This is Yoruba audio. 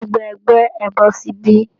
Gbogbo ẹgbẹ́, ẹ bọ́ síbí